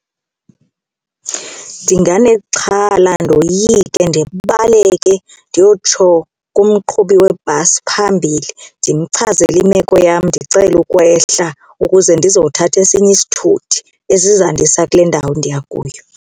Ndinganexhala ndoyike ndibaleke ndiyotsho kumqhubi webhasi phambili ndimchazele imeko yam ndicele ukwehla ukuze ndizothatha esinye isithuthi esizandisa kule ndawo ndiya kuyo.